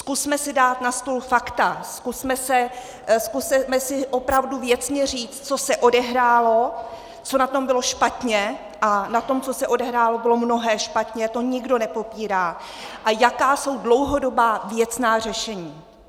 Zkusme si dát na stůl fakta, zkusme si opravdu věcně říct, co se odehrálo, co na tom bylo špatně, a na tom, co se odehrálo, bylo mnohé špatně, to nikdo nepopírá, a jaká jsou dlouhodobá věcná řešení.